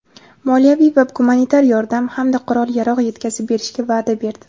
moliyaviy va gumanitar yordam hamda qurol-yarog‘ yetkazib berishga va’da berdi.